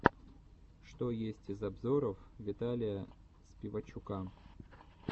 что есть из обзоров виталия спивачука